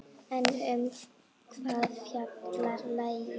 En um hvað fjallar lagið?